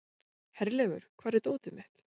Herleifur, hvar er dótið mitt?